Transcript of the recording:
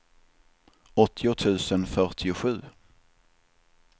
åttio tusen fyrtiosju